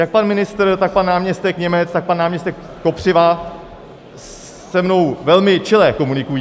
Jak pan ministr, tak pan náměstek Němec, tak pan náměstek Kopřiva se mnou velmi čile komunikují.